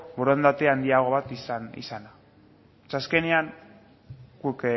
borondate handiagoak izana zeren azkenean guk